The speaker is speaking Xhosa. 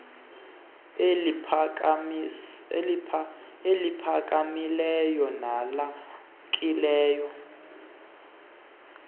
ukwinqanaba eliphakamileyo nelamkelekileyo